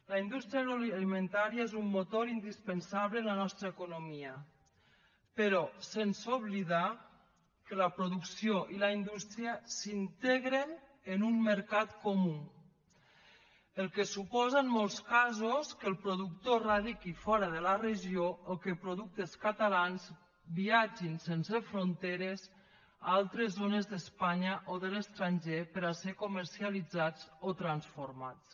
la indústria agroalimentària és un motor indispensable de la nostra economia però sense oblidar que la producció i la indústria s’integren en un mercat comú que suposa en molts casos que el productor es radiqui fora de la regió o que productes catalans viatgin sense fronteres a altres zones d’espanya o de l’estranger per a ser comercialitzats o transformats